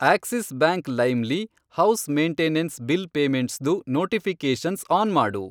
Axis Bank lime lee house maintenance bill ಪೇಮೆಂಟ್ಸ್ದು notifications on ಮಾಡು.